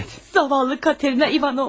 Yazıq Katerina İvanovna!